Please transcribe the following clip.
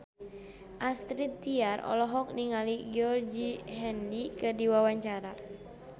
Astrid Tiar olohok ningali Georgie Henley keur diwawancara